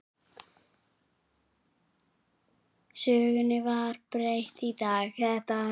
Sögunni var breytt í dag.